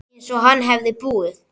Einsog hann hefði búið.